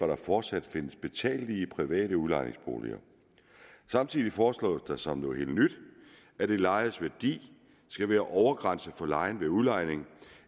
der fortsat findes betalelige private udlejningsboliger samtidig foreslås der som noget helt nyt at det lejedes værdi skal være overgrænse for lejen ved udlejning